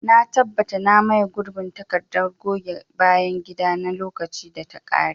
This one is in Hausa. Na tabbata na maye gurbin takardar goge bayan gida na lokacin da ta kare.